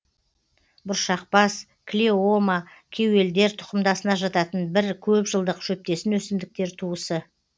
бұршақбас клеома кеуелдер тұқымдасына жататын бір көп жылдық шөптесін өсімдіктер туысы